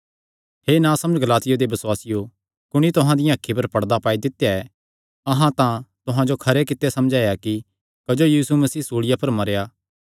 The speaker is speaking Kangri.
हे नासमझ गलातिया दे बसुआसियो कुणी तुहां दियां अखीं पर पड़दा पाई दित्या ऐ अहां तां तुहां जो खरे कित्ते समझाया कि क्जो यीशु मसीह सूल़िया पर मरेया